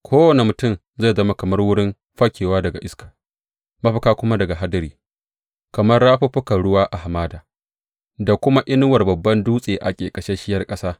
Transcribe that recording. Kowane mutum zai zama kamar wurin fakewa daga iska mafaka kuma daga hadari, kamar rafuffukan ruwa a hamada da kuma inuwar babban dutse a ƙeƙasasshiyar ƙasa.